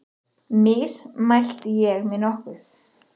Mismælti ég mig nokkuð?